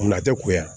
Wula tɛ kuya